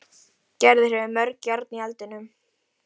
Gerður hefur mörg járn í eldinum.